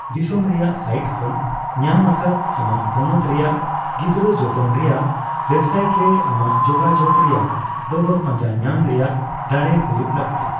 ᱫᱤᱥᱚᱢ ᱨᱮᱭᱟᱜ ᱥᱟᱭᱤᱴ ᱠᱷᱚᱱ ᱧᱟᱢ ᱟᱠᱟᱫ ᱟᱢᱟᱜ ᱯᱚᱱᱚᱛ ᱨᱮᱭᱟᱜ ᱜᱤᱫᱽᱨᱟᱹᱼᱡᱚᱛᱚᱱ ᱨᱮᱭᱟᱜ ᱳᱭᱮᱵᱥᱟᱭᱤᱴ ᱨᱮ ᱟᱢᱟᱜ ᱡᱳᱜᱟᱡᱳᱜ ᱨᱮᱭᱟᱜ ᱰᱚᱜᱚᱨ ᱯᱟᱡᱟᱸ ᱧᱟᱢ ᱨᱮᱭᱟᱜ ᱫᱟᱲᱮ ᱦᱩᱭᱩᱜ ᱞᱟᱹᱠᱛᱤ ᱾